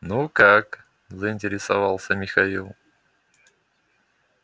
ну как заинтересовался михаил